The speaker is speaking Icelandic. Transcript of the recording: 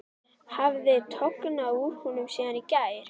Hafði tognað úr honum síðan í gær?